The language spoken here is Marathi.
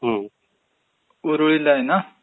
हम्म...ऊरळीला आहे ना.